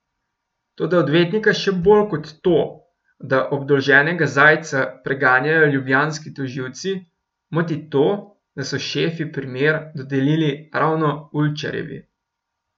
Toda odvetnika še bolj kot to, da obdolženega Zajca preganjajo ljubljanski tožilci, moti to, da so šefi primer dodelili ravno Ulčarjevi.